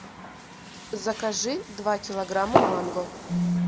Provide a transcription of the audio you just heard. закажи два килограмма манго